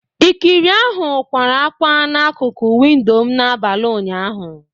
Ikiri ahụ kwara ákwá na akụkụ windo m n'abalị ụnyaahụ